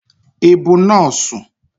Ị bụ nọọsụ?